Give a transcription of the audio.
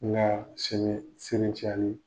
Ŋaa sini sinitiali